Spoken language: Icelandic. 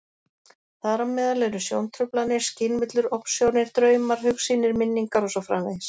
Þar á meðal eru sjóntruflanir, skynvillur, ofsjónir, draumar, hugsýnir, minningar og svo framvegis.